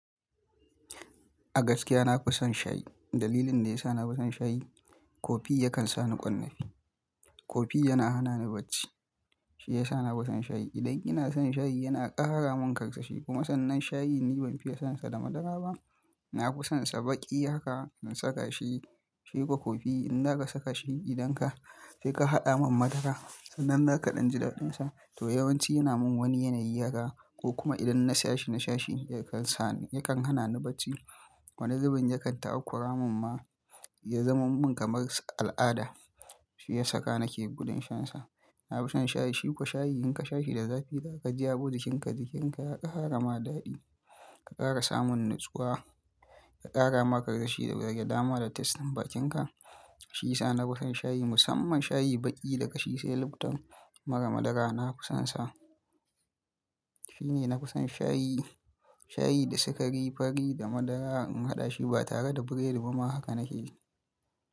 A gaskiya na fi son shayi. Dalilin da ya sa na fi son shayi, kofii yakan sa ni ƙwarnafi. Kofi yana hana ni bacci. Shi ya sa na fi son shayi. Idan ina shan shayi yana ƙara min ƙarsashi, kuma sannan shayi ni ban fiye sansa da madara ba. Na fi sonsa baki haka in saka shi, shi fa kofi in za ka saka shi idan ka sai ka haɗa min madara, sannan nakan ɗi ji daɗinsa, to yawanci yana min wani yanayi haka ko kuma idan na sha shi na sha shi yakan sa ni, yakan hana ni bacci. Wani zubin yakan takura mun ma ya zama min kamar al'ada. Shi ya saka nake gudan shansa. Na fi son shayi, shi kuwa shayi in ka sha shi da zafi daga ka ji abokin ka jikin ka ya ƙara ma daɗi, ka ƙara samun natsuwa, ka ƙara ma ƙarsashi daga dama da tasten bakin ka. Shi ya sa na fi son shayi musamman shayi baki da ƙashi sai lifton mara madara na fi sonsa. Shi ne na fi son shayi, shayi da sikari, fari da madara in haɗa shi ba tare da biredi ba ma haka nake yi.